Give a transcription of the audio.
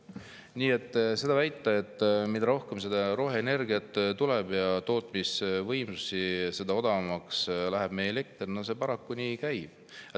Nii et väita, et mida rohkem tuleb roheenergiat ja tootmisvõimsusi, seda odavamaks läheb elekter – no see paraku nii ei käi.